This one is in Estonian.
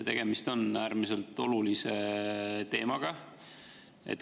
Tegemist on äärmiselt olulise teemaga.